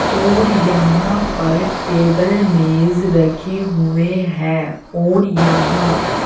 और यहां पर टेबल मेज रखे हुए हैं और यहां--